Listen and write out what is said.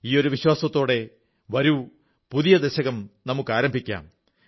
ഈ ഒരു വിശ്വാസത്തോടെ വരൂ പുതിയ ദശകം നമുക്കാരംഭിക്കാം